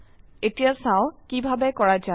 এতিয়া চাও কিভাবে কৰা যায়